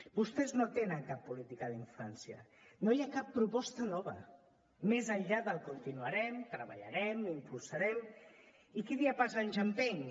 vostès no tenen cap política d’infància no hi ha cap proposta nova més enllà del continuarem treballarem impulsarem i qui dia passa anys empeny